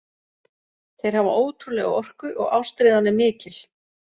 Þeir hafa ótrúlega orku og ástríðan er mikil.